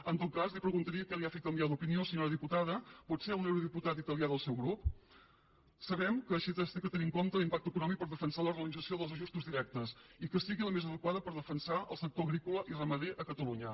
en tot cas li preguntaria què l’ha fet canviar d’opinió senyora diputada potser un eurodiputat italià del seu grup sabem que s’ha de tenir en compte l’impacte econòmic per defensar la realització dels ajustos directes i que sigui la més adequada per defensar el sector agrícola i ramader a catalunya